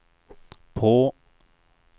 på